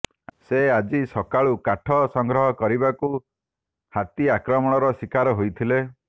ସେ ଆଜି ସକାଳୁ କାଠ ସଂଗ୍ରହ କରିବାକୁ ହାତୀ ଆକ୍ରମଣର ଶିକାର ହୋଇଥିଲେ